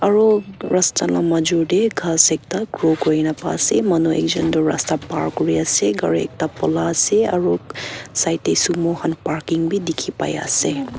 aru rasta lah major teh ghas ekta grow kuri na pa se manu ekjun tu rasta par kuri ase gari ekta pola ase aru side teh sumo khan Parking bhi dikhi pai ase.